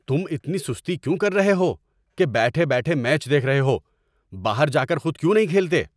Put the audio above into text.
تم اتنی سستی کیوں کر رہے ہو کہ بیٹھ بیٹھے میچ دیکھ رہے ہو؟ باہر جا کر خود کیوں نہیں کھیلتے؟